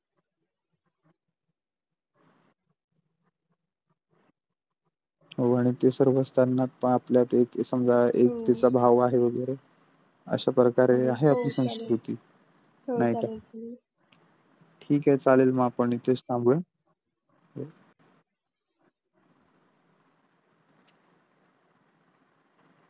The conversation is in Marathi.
हो आणि ते सर्व असताना आपल्यात एक समजा एकतेचा भाव आहे वगैरे अशा प्रकारे आहे आपली संस्कृ नहित ठीक आहे चालेल आपण आतच थांबूया.